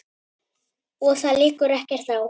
Og það liggur ekkert á.